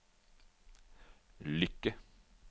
lykke